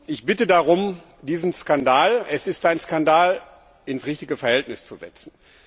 Ich bitte darum, diesen Skandal es ist ein Skandal ins richtige Verhältnis zu setzen.